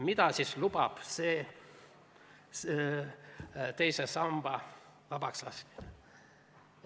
Mida siis lubab see teise samba vabaks laskmine?